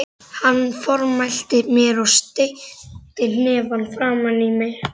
Hann formælti mér og steytti hnefann framan í mig.